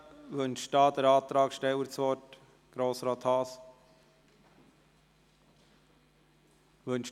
Wünscht der Antragsteller, Grossrat Haas, das Wort?